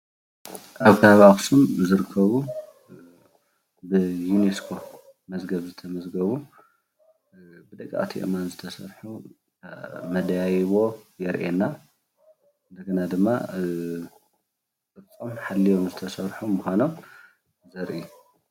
ኣብ ኸባቢ ኣኽሱም ዝርከቡ ብዩኔስኮ መዝገብ ዝተመዝገቡ ብደቀቅቲ ኣእማን ዝተሰርሑ መዳይቦ የርእየና። እንደገና ድማ ቅርፆም ሓልዮም ዝተሰርሑ ምዃኖሞ የርእየና።